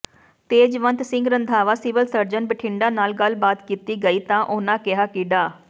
Tejwant Singh Randhawa civil surgeon Bathinda ਨਾਲ ਗੱਲਬਾਤ ਕੀਤੀ ਗਈ ਤਾਂ ਉਨ੍ਹਾਂ ਕਿਹਾ ਕਿ ਡਾ